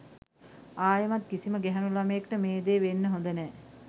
ආයෙමත් කිසිම ගැහැනු ළමයෙක්ට මේ දේ වෙන්න හොඳ නැහැ.